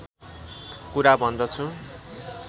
कुरा भन्दछु